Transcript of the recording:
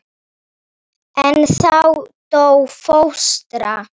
En þá dó fóstra.